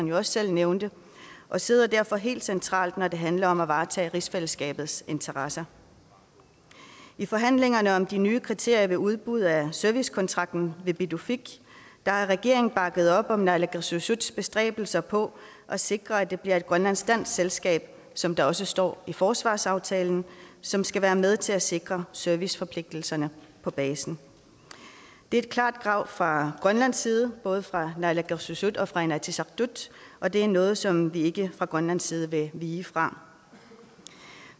jo også selv nævnte og sidder derfor helt centralt når det handler om at varetage rigsfællesskabets interesser i forhandlingerne om de nye kriterier ved udbud af servicekontrakten ved pituffik har regeringen bakket op om naalakkersuisuts bestræbelser på at sikre at det bliver et grønlandsk dansk selskab som der også står i forsvarsaftalen som skal være med til at sikre serviceforpligtelserne på basen det er et klart krav fra grønlands side både fra naalakkersuisut og fra inatsisartut og det er noget som vi ikke fra grønlands side vil vige fra